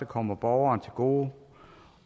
kommer borgeren til gode